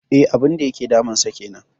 E, abun da yake damunsa kenan.